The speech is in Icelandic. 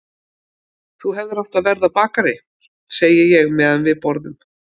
Þú hefðir átt að verða bakari, segi ég meðan við borðum.